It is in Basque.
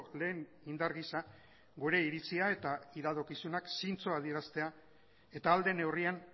lehen indar gisa gure iritzia eta iradokizunak zintzo adieraztea eta ahal den neurrian